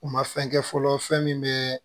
U ma fɛn kɛ fɔlɔ fɛn min bɛ